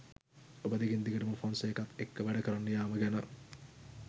ඔබ දිගින් දිගටම ෆොන්සේකත් එක්ක වැඩකරන්න යෑම ගැන?